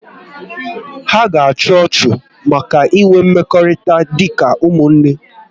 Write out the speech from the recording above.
Ha ga achu ọchụ maka inwe mmekọrịta dị ka ụmụnne